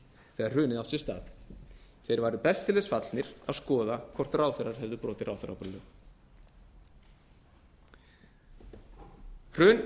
þegar hrunið átti sér stað þeir væru best til þess fallnir að skoða hvort ráðherrar hefðu brotið ráðherraábyrgðarlög hrun